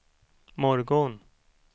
morgon